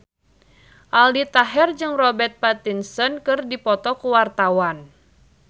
Aldi Taher jeung Robert Pattinson keur dipoto ku wartawan